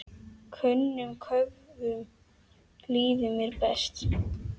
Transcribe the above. Önnum köfnum líður mér best.